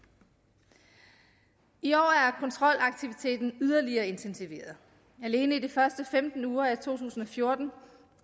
i år er kontrolaktiviteten yderligere intensiveret alene i de første femten uger af to tusind og fjorten